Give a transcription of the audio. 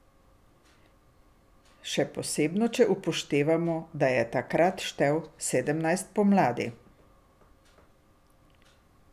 Še posebno če upoštevamo, da je takrat štel sedemnajst pomladi.